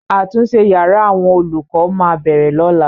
Àtúnṣe yàrá àwọn olùkọ máa bẹ̀rẹ̀ lọ́la.